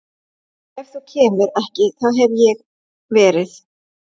Ef þú kemur ekki þá hef ég verið